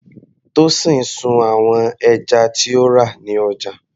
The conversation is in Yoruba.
Tosin sun àwọn ẹja tí ó rà ní ọjà.